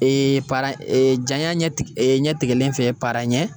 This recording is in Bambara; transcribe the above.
Ee para ee janya ɲɛ ɲɛtigɛlen fɛ para ɲɛ